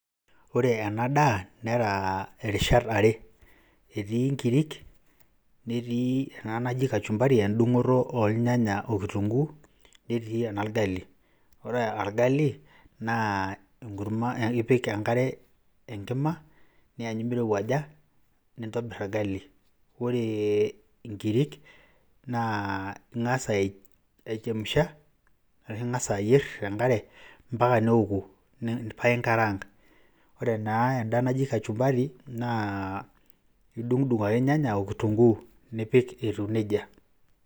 Ore ena daa nera rishat are etii nkirik, netii ena naji kachumbari endung'oto ornyanya o kitunguu, netii eno orgali. Ore orgali naa enkurma ipik enkare enkima niyanyu mirowuaja nintobir orgali. Ore nkirik naa ing'asa aichemsha arashu ing'asa ayer te nkare mpaka neoku pae inkaraang'. Ore naa enda naji kachumbari, idung'dung' ake irnyanya o kitunguu nipik etiu neija.